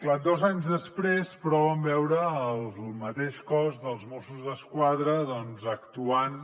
clar dos anys després però vam veure el mateix cos dels mossos d’esquadra actuant